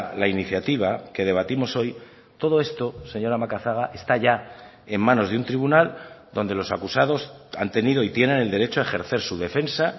la iniciativa que debatimos hoy todo esto señora macazaga está ya en manos de un tribunal donde los acusados han tenido y tienen el derecho a ejercer su defensa